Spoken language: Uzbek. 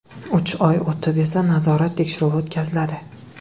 Uch oy o‘tib esa nazorat tekshiruvi o‘tkaziladi.